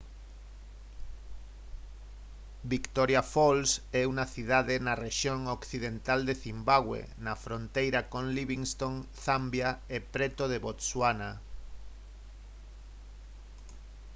victoria falls é unha cidade na rexión occidental de cimbabue na fronteira con livingstone zambia e preto de botswana